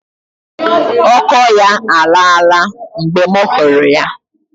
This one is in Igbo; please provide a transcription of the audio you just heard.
Ọkọ ya alaa la mgbe m hụrụ ya.